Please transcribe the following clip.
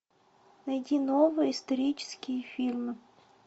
найди новые исторические фильмы